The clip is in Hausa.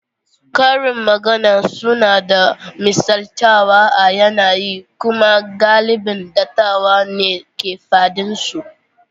Karin magana suna da misaltawa a yanayi kuma galibin dattawa ne ke faɗin su.